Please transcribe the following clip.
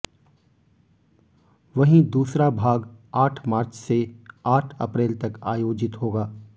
वहीं दूसरा भाग आठ मार्च से आठ अप्रैल तक आयोजित होगा